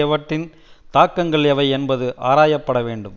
அவற்றின் தாக்கங்கள் எவை என்பது ஆராயப்பட வேண்டும்